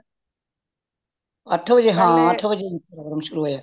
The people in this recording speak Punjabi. ਅੱਠ ਵਜੇ ਹਾਂ ਅੱਠ ਵਜੇ program ਸ਼ੁਰੂ ਹੋਇਆ